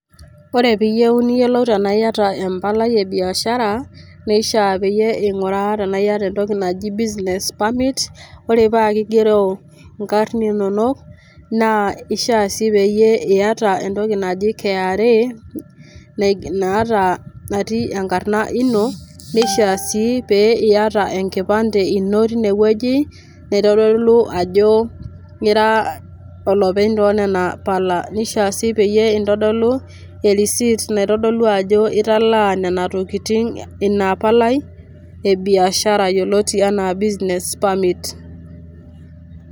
Ore pee iyieu ajo iata empalai e biashar neishiaa pee iyiolou ajo iata entokinaji business permit ore paa kigero inkarrn inonok naa ishiaa sii pee iata entoki naji KRA natii enkarna ino nishiaa sii pee iata enkipande ino tine wueji naitodolu ajo ira enopeny oonena pala nishia sii peyie intodolu e receipt naitodolu italaa nena tokitin ina palai e biashara netii enaa business permit.